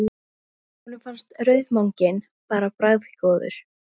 Og honum fannst rauðmaginn bara bragðgóður.